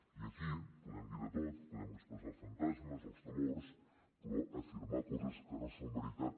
i aquí podem dir de tot podem expressar els fantasmes o els temors però afirmar coses que no són veritat